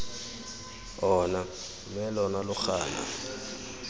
ona mme lona lo gana